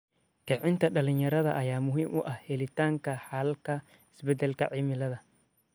Kicinta dhalinyarada ayaa muhiim u ah helitaanka xalalka isbeddelka cimilada.